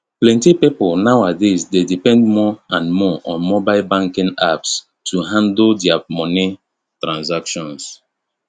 plenty people nowadays dey depend more and more on mobile banking apps to handle their moni transactions